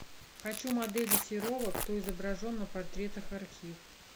хочу модели серова кто изображен на портретах архив